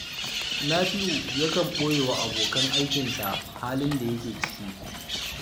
Nafi'u yakan ɓoye wa abokan aikinsa halin da yake ciki